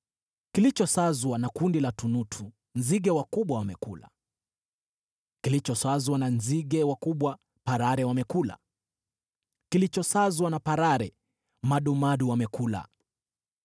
Kilichosazwa na kundi la tunutu nzige wakubwa wamekula, kilichosazwa na nzige wakubwa parare wamekula, kilichosazwa na parare madumadu wamekula.